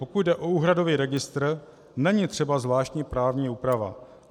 Pokud jde o úhradový registr, není třeba zvláštní právní úprava.